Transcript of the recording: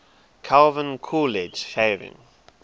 calvin coolidge shaving